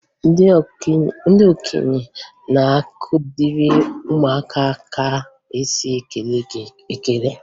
Ndị okenye na-akụziri ụmụaka ka e si ekele ekele